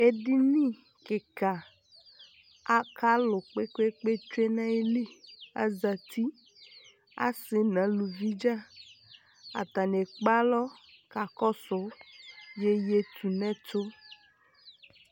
edini keka aka alò kpekpe tsue n'ayili azati ase n'aluvi dza atani ekpe alɔ kakɔsu yeye tu n'ɛto